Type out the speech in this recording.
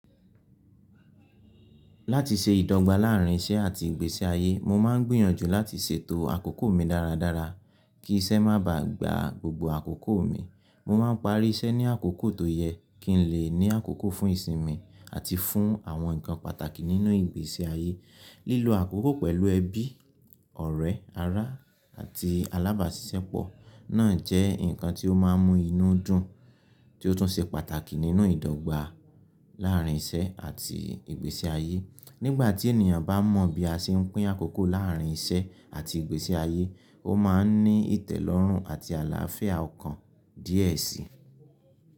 Láti ṣe ìdọ́gba láàárín iṣẹ́ àti ìgbésí ayé, mo máa ń gbìyànjú láti ṣètò àkókò mi dára dára kí iṣẹ́ má ba à gba gbogbo àkókò mi. Mo máa ń parí iṣẹ́ ní àkókò tó yẹ kí n lè ní àkókò fún ìsinmi àti fún àwọn nǹkan pàtàkì nínú ìgbésí ayé. Lílo àkókò pẹ̀lú ẹbí, ọ̀rẹ́, ará, àti alábàásisẹ́pọ̀ náà jẹ́ nǹkan tí ó máa ń mú inú dùn tí ó tún ṣe pàtàkì nínú ìdọ́gba láàárín iṣẹ́ àti ìgbésí ayé. Nígbà tí ènìyàn bá mọ bí a ṣe ń pín àkókò láàárín iṣẹ́ àti ìgbésí ayé, ó máa ń ní ìtẹ́lọ́rùn àti àlàáfíà ọkàn díẹ̀ síi.